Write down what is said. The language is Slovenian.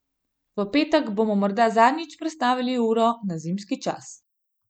V petek bomo morda zadnjič prestavili uro na zimski čas.